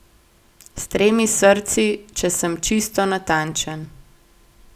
S tremi srci, če sem čisto natančen.